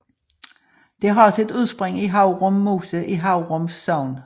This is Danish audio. Det har sit udspring i Haurum Mose i Haurum Sogn